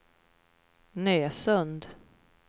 Nösund